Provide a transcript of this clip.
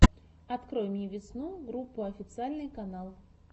открой мне весну группу официальный канал